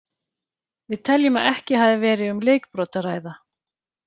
Við teljum að ekki hafi verið um leikbrot að ræða.